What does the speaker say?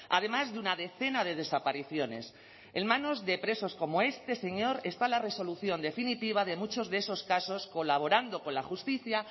además de una decena de desapariciones en manos de presos como este señor está la resolución definitiva de muchos de esos casos colaborando con la justicia